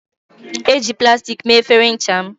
Eji plastik mee efere ncha m